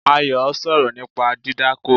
Ayo sọ̀rọ̀ nípa dídákó